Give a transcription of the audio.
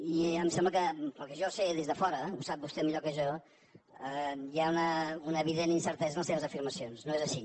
i em sembla que pel que jo sé des de fora ho sap vostè millor que jo hi ha una evident incertesa en les seves afirmacions no és així